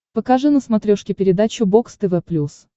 покажи на смотрешке передачу бокс тв плюс